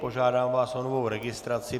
Požádám vás o novou registraci.